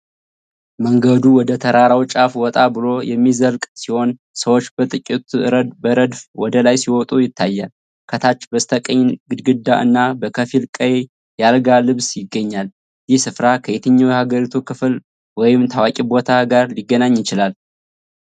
መንገዱ ወደ ተራራው ጫፍ ወጣ ብሎ የሚዘልቅ ሲሆን፣ ሰዎች በጥቂቱ በረድፍ ወደ ላይ ሲወጡ ይታያሉ። ከታች በስተቀኝ፣ ግድግዳ እና በከፊል ቀይ የአልጋ ልብስ ይገኛል። ይህ ስፍራ ከየትኛው የሀገሪቱ ክፍል ወይም ታዋቂ ቦታ ጋር ሊገናኝ ይችላል?